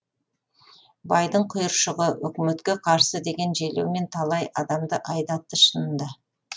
байдың құйыршығы өкіметке қарсы деген желеумен талай адамды айдатты шынында